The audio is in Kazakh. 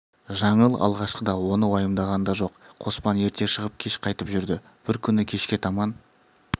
жаңыл алғашқыда оны уайымдаған да жоқ қоспан ерте шығып кеш қайтып жүрді бір күні кешке таман